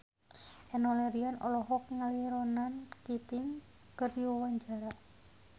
Enno Lerian olohok ningali Ronan Keating keur diwawancara